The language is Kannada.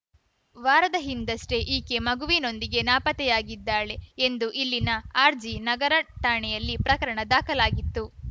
ವಾರದ ಹಿಂದಷ್ಟೆಈಕೆ ಮಗುವಿನೊಂದಿಗೆ ನಾಪತ್ತೆಯಾಗಿದ್ದಾಳೆ ಎಂದು ಇಲ್ಲಿನ ಆರ್‌ಜಿ ನಗರ ಠಾಣೆಯಲ್ಲಿ ಪ್ರಕರಣ ದಾಖಲಾಗಿತ್ತು